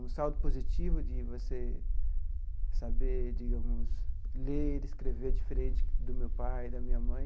um saldo positivo de você saber digamos ler e escrever diferente do meu pai e da minha mãe.